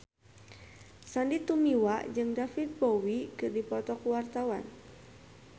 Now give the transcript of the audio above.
Sandy Tumiwa jeung David Bowie keur dipoto ku wartawan